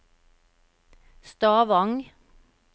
Stavang